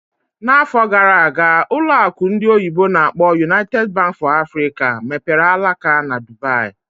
N'afọ gara aga, ụlọ akụ ndị oyibo n'akpọ "United Bank for Africa mepere alaka na Dubaì